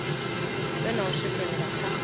vhe na u swikelela kha